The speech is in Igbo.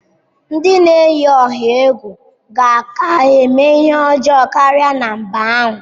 Ndị na-eyi ọha egwu ka ga-eme ihe ọjọọ karịa na mba ahụ.